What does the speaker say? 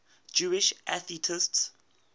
jewish atheists